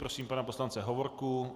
Prosím pana poslance Hovorku.